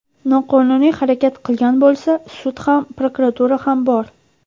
Noqonuniy harakat qilgan bo‘lsa, sud ham, prokuratura ham bor.